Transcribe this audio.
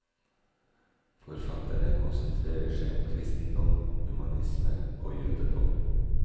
Forfatterne konsentrerer seg om kristendom, humanisme og jødedom.